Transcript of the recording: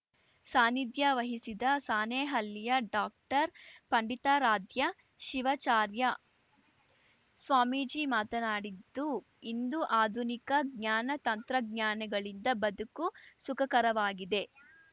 ಸಾನಿಧ್ಯ ವಹಿಸಿದ್ದ ಸಾಣೇಹಳ್ಳಿಯ ಡಾಕ್ಟರ್ಪಂಡಿತಾರಾಧ್ಯ ಶಿವಚಾರ್ಯ ಸ್ವಾಮೀಜಿ ಮಾತನಾಡಿದ್ದು ಇಂದು ಆಧುನಿಕ ಜ್ಞಾನ ತಂತ್ರಜ್ಞಾನಗಳಿಂದ ಬದುಕು ಸುಖಕರವಾಗಿದೆ